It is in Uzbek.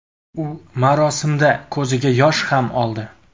U marosimda ko‘ziga yosh ham oldi.